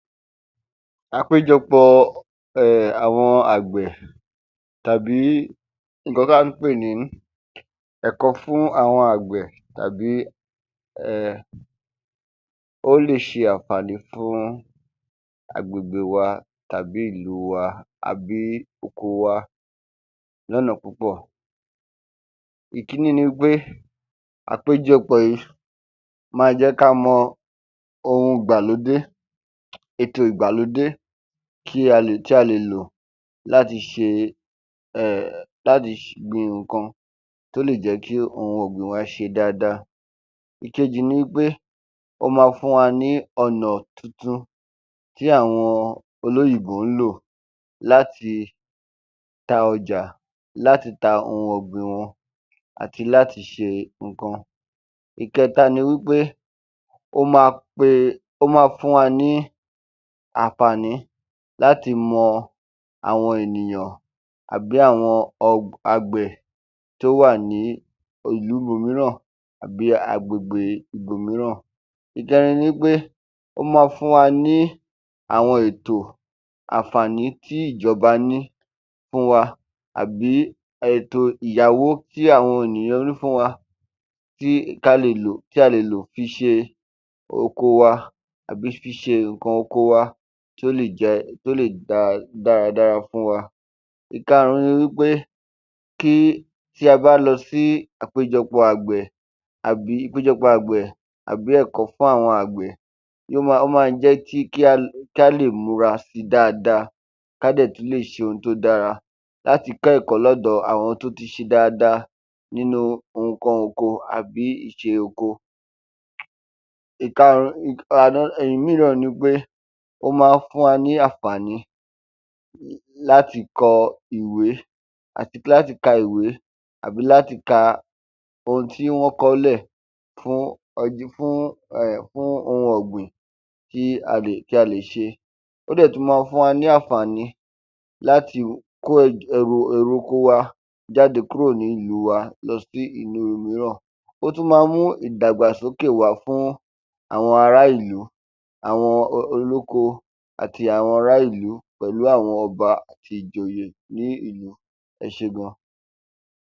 Àpéjọpọ̀ọ um àwọn àgbẹ̀ tàbí nǹkan ká ǹ pè ní ẹ̀kọ́ fún àwọn àgbẹ̀ tàbí um ó lè ṣe àǹfàní fún agbègbè wa tàbí ìlu wa àbí oko wa lọ́nà púpọ̀. Ìkíní ni wí pé àpéjọpọ̀ yí ma jẹ́ ká mọ ohun ìgbàlódé, ètò ìgbàlódé kí a lè, tí a lè lò láti ṣe um láti gbin nǹkan tí ó lè jẹ́ kí ohun ọ̀gbìn wá ṣe dáadáa. Ìkejì ni wí pé, ó ma fún wa ní ọnà tuntun tí àwọn olóyìnbó ń lò láti ta ọjà, láti ta ohun ọ̀gbìn wọn àti láti ṣe nǹkan. Ìkẹta ni wí pé, ó ma pe, ó ma fún wa ní àǹfàní láti mọ àwọn ènìyàn àbí àwọn ọ, agbe tó wà ní ìlú ibòmíràn àbí agbègbe ibòmíràn. Ìkẹrin ni wí pé, ó ma fún wa ní àwọn ètò, àǹfàní tí ìjọba ní fún wa àbí èto ìyáwó tí àwọn ènìyàn ní fún wa tí, ká le e lò, tí a lè lò fi ṣe oko wa àbí fi ṣe nǹkan oko wa tí ó lè jẹ, kí ó lè da dáradára fún wa. Ìkarùn-ún ni wí pé kí, tí a bá lọ sí àpéjọpọ̀ àgbẹ̀ àbí ìpéjọpọ̀ àgbẹ̀ àbí ẹ̀kọ́ fún àwọn àgbẹ̀ yó ma jẹ́ kí, ó ma jẹ́ kí á lè múra sí dáadáa, ká dẹ̀ tún lè ṣe ohun tó dára láti kọ́ ẹ̀kọ́ lọ́dọ̀ àwọn tó ti ṣe dáadáa nínú nǹkan oko àbí ìṣe oko. Ìkarùn-ún um another um ìmíran ni pé ó ma ń fún wa ní àǹfàní láti kọ ìwé àti láti ka ìwé àbí láti ka ohun tí wọ́n kọ ọ́ lè fún ọjọ́, fún um ohun ọ̀gbìn tí a lè, tí a lè ṣe. Ó dẹ̀ tún ma fún wa ní àǹfàní láti kó ẹrù oko wa, èrè oko wa jáde kúrò nínú ìlúu wa lọ sí ìlúu ìmíràn. O tún ma mú ìdàgbàsókè wá fún àwọn ará ìlú, àwọn olóko àti àwọn ará ìlú, pẹ̀lú àwọn ọba àti ìjòyè ní ìlú, ẹ ṣé gan.